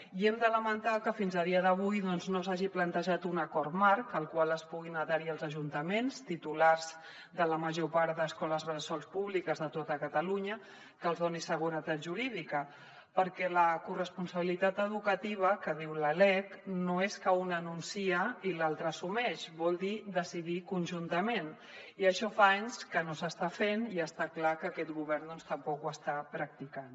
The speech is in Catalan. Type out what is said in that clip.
i hem de lamentar que fins a dia d’avui no s’hagi plantejat un acord marc al qual es puguin adherir els ajuntaments titulars de la major part d’escoles bressol públiques de tot catalunya que els doni seguretat jurídica perquè la corresponsabilitat educativa que diu la lec no és que un anuncia i l’altre assumeix vol dir decidir conjuntament i això fa anys que no s’està fent i està clar que aquest govern tampoc ho està practicant